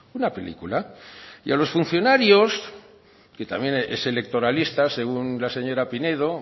una película y a los funcionarios que también es electoralista según la señora pinedo